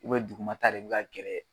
dugumata de bɛ ka gɛrɛ.